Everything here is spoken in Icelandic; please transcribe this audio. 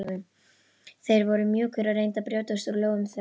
Þeir voru mjúkir og reyndu að brjótast úr lófum þeirra.